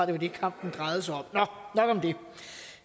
det var det kampen drejede sig om nok om det